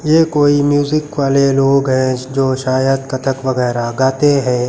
ये कोई म्यूजिक वाले लोग हैं जो शायद कत्थक वगैरा गाते हैं।